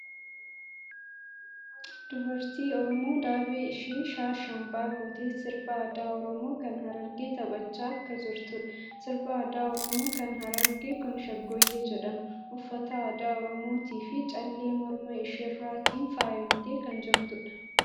Dubartii Oromoo daabee ishee shaa shambaa gootee sirba aadaa Oromoo kan Harargee taphachaa akka jirtuudhaa. Sirbaa aadaa Oromoo kan Harargee kuni Shaggooyyee jedhama. Uffata aadaa Oromootifii callee morma isheerratiin faayamtee kan jirtuudha.